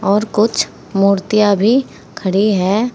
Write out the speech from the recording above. और कुछ मूर्तियां भी खड़ी है।